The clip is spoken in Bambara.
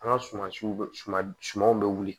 An ka suman siw sumanw bɛ wuli